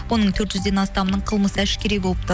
оның төрт жүзден астамынының қылмысы әшкере болыпты